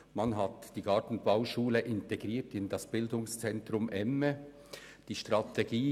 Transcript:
Man hat die Gartenbauschule ins bz emme integriert.